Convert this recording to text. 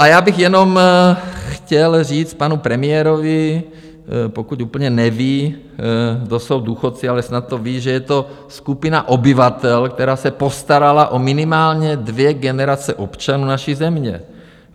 A já bych jenom chtěl říct panu premiérovi, pokud úplně neví, kdo jsou důchodci - ale snad to ví, že je to skupina obyvatel, která se postarala o minimálně dvě generace občanů naší země.